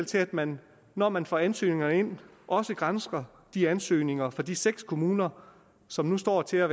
til at man når man får ansøgninger ind også gransker de ansøgninger fra de seks kommuner som nu står til at